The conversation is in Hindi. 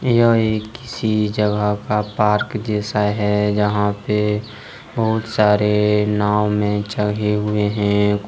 यह किसी जगह का पार्क जैसा है जहां पर बहुत सारे नाव में जगे हुए हैं।